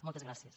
moltes gràcies